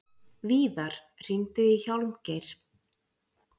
Víðar, hringdu í Hjálmgeir.